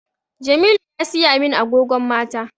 Jamilu ya siya min agogon mata